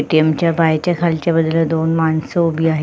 ATM. च्या बाहेरच्या खालच्या बाजूला दोन मानस उभी आहे.